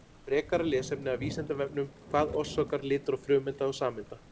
Frekara lesefni af Vísindavefnum: Hvað orsakar litróf frumeinda og sameinda?